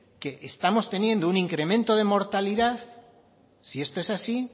que estamos teniendo un incremento de mortalidad si esto es así